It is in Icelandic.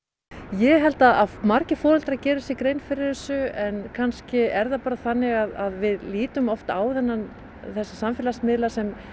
ég held að margir foreldrar geri sér grein fyrir þessu en kannski er það bara þannig að við lítum oft á þessa samfélagsmiðla sem